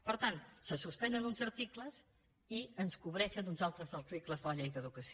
per tant se suspenen uns articles i ens cobreixen uns altres articles de la llei d’educació